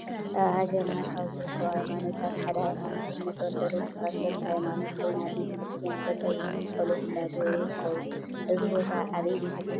አብ ሃገርና ካብ ዝርከቡ ሃይማኖታት ሓደ ሃይማኖት እምነት አርቶዶክስ ተከተልቲ ሃይማኖት ኮይኑ አብ ቤተከርስትያን ጠጠው ኢሎም ፀሎት እናገበሩ ይርከቡ ።አዚ ቦታ አበይ ቤተክርስትያን ይመስለኩም?